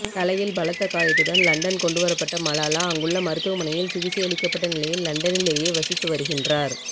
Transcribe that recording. தலையில் பலத்த காயத்துடன் லண்டன் கொண்டு வரப்பட்ட மலாலா அங்குள்ள மருத்துவமனையில் சிகிச்சையளிக்கப்பட்டநிலையில் லண்டனிலேயே வசித்து வருகின்றார்